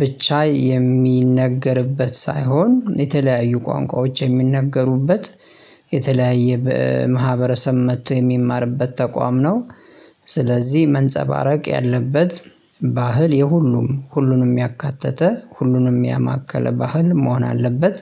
ብቻ የሚነገርበት ሳይሆን የተለያዩ ቋንቋዎች የሚነገሩበት የተለያየ ማህበረሰብ መጥቶ የሚማርበት ተቋም ነው። ስለዚህ መንጸባረቅ ያለበት ባህል የሁሉም ሁሉንም ያካተተ ሁሉንም ያማከለ ባህል መሆን አለበት።